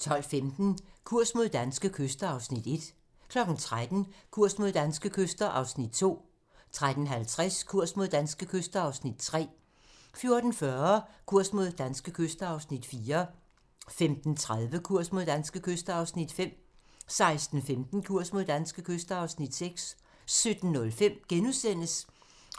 12:15: Kurs mod danske kyster (Afs. 1) 13:00: Kurs mod danske kyster (Afs. 2) 13:50: Kurs mod danske kyster (Afs. 3) 14:40: Kurs mod danske kyster (Afs. 4) 15:30: Kurs mod danske kyster (Afs. 5) 16:15: Kurs mod danske kyster (Afs. 6) 17:05: